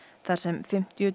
þar sem fimmtíu